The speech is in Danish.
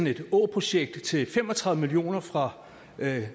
et åprojekt til fem og tredive million kroner fra